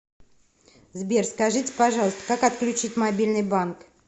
сбер скажите пожалуйста как отключить мобильный банк